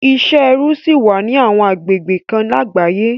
Isẹ ẹrú ṣì wà ní àwọn agbegbe kan lágbàáyé